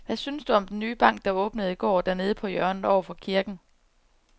Hvad synes du om den nye bank, der åbnede i går dernede på hjørnet over for kirken?